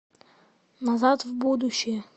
назад в будущее